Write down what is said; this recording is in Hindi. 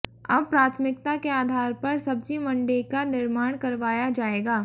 अब प्राथमिकता के आधार पर सब्जी मंडी का निर्माण करवाया जाएगा